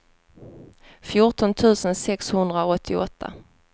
fjorton tusen sexhundraåttioåtta